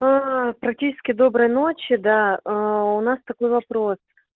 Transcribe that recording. практически доброй ночи да у нас такой вопрос